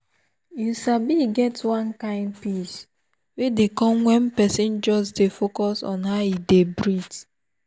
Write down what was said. you sabi e get one kind peace wey dey come when person just dey focus on how e dey breathe